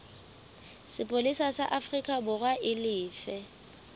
sepolesa sa aforikaborwa e lefe